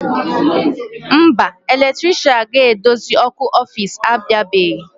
Mba, eletrisha ga-edozi ọkụ ọfici abịabeghị.